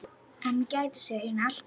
En hún gætir sín alltaf.